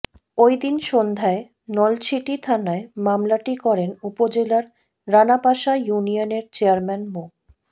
ওই দিন সন্ধ্যায় নলছিটি থানায় মামলাটি করেন উপজেলার রানাপাশা ইউনিয়নের চেয়ারম্যান মো